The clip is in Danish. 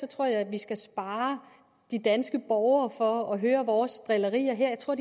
tror jeg at vi skal spare de danske borgere for at høre vores drillerier her jeg tror